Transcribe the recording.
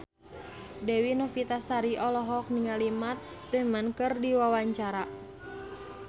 Dewi Novitasari olohok ningali Matt Damon keur diwawancara